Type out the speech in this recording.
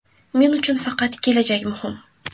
Men uchun faqat kelajak muhim.